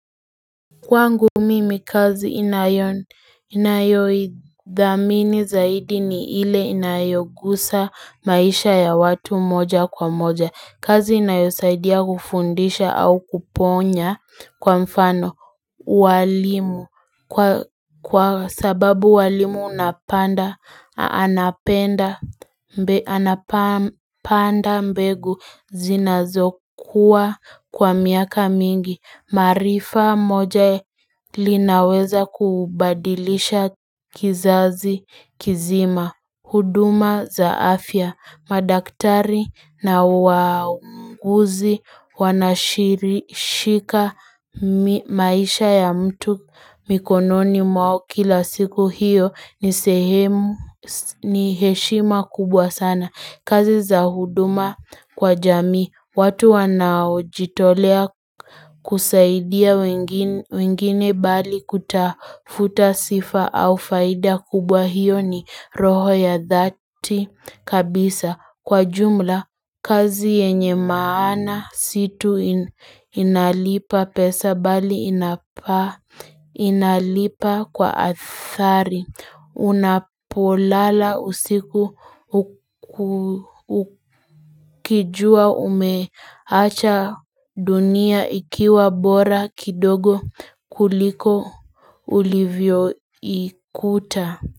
Kwangu mimi kazi inayodhamini zaidi ni ile inayogusa maisha ya watu moja kwa moja kazi inayosaidia kufundisha au kuponya kwa mfano ualimu kwa sababu walimu unapanda anapenda mbe anapanda mbegu zinazokuwa kwa miaka mingi marifa moja linaweza kubadilisha kizazi kizima huduma za afya, madaktari na waunguzi wanashirishika maisha ya mtu mikononi mwao kila siku hiyo ni sehemu ni heshima kubwa sana. Kazi za huduma kwa jamii, watu wanaojitolea kusaidia wengine bali kutafuta sifa au faida kubwa hiyo ni roho ya dhati kabisa. Kwa jumla kazi yenye maana situ inalipa pesa bali inapaa inalipa kwa athari unapolala usiku ukijua umeacha dunia ikiwa bora kidogo kuliko ulivyo ikuta.